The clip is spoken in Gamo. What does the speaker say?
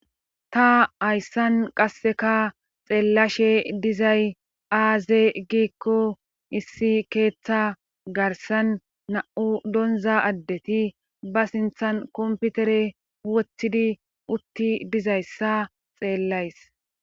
ta hayssan qasseka xeellashe dizay aaze giikko issi keeththa garsan na7u donza addeti ba sinthan komputere woththidi utti dizayssa xeellays